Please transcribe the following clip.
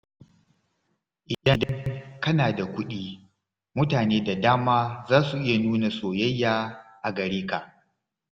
Idan kana da kuɗi, mutane da dama za su iya nuna soyayya a gare ka.